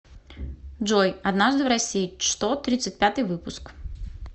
джой однажды в россии что тридцать пятый выпуск